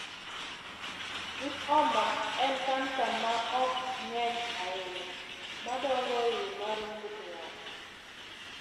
VIPoma en kansa ma ok ng’eny ahinya ma dongo e iye mar ng’ut ng’ato.